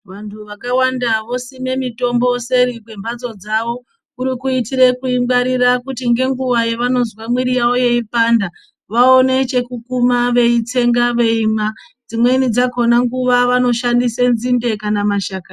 Vantu vakawanda vosime mitombo seri kwemhatso dzawo kuri kuitire kuingwarira kuti ngenguwa yavanozwe mwiri yawo yeipanda vaone chekukuma veitsenga veimwa, dzimweni dzakona nguwa vanoshandise nzinde kana mashakani.